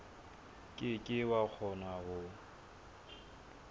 ke ke wa kgona ho